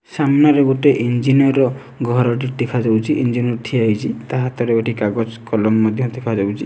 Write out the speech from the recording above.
ସାମ୍ନାରେ ଗୋଟେ ଇଞ୍ଜିନିୟର ର ଘରଟେ ଦେଖାଯାଉଛି ଇଞ୍ଜିନିୟର ଠିଆ ହେଇଛି ତା ହାତରେ ଗୋଟେ କାଗଜ କଲମ ମଧ୍ୟ ଦେଖାଯାଉଛି।